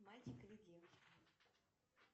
мальчик или девочка